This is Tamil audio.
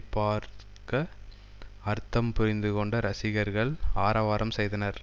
பார்க்க அர்த்தம் புரிந்துகொண்ட ரசிகர்கள் ஆரவாரம் செய்தனர்